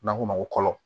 N'an k'o ma ko kɔkɔ